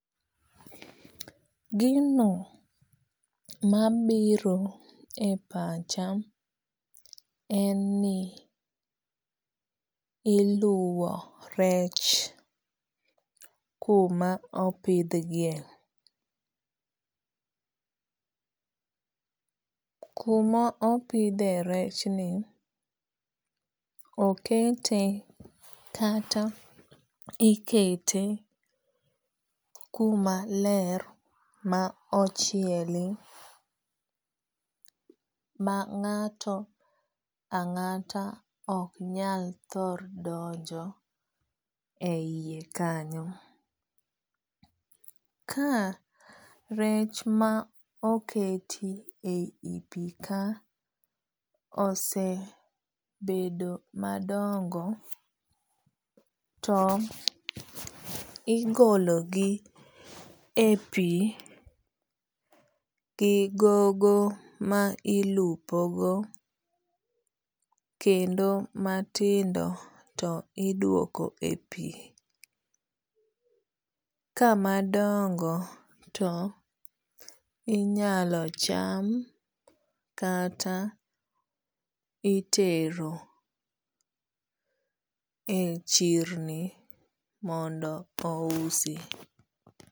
Gino mabiro e pacha en ni iluwo rech kuma opidh gie. Kuma opidhe rech ni okete kata ikete kuma ler ma ochieli ma ng'ato ang'ata ok nyal thor donjo e yie kanyo. Ka rech ma oketi e yi pi ka osebedo madongo to igolo gi e pi gi gogo ma ilupo go kendo matindo to iduoko e pi. Ka madongo to inyalo cham kata itero e chirni mondo ousi.